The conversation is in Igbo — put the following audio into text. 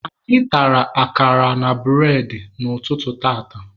Anyị tara akara na bụredị n'ụtụtụ tata